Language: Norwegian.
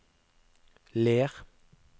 Ler